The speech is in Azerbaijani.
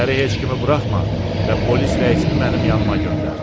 İçəri heç kimi buraxma və polis rəisini mənim yanımaa göndər.